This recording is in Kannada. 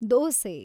ದೋಸೆ